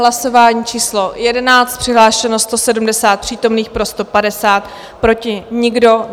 Hlasování číslo 11, přihlášeno 170 přítomných, pro 150, proti nikdo.